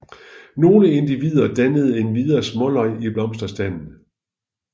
Nogle individer danner endvidere småløg i blomsterstanden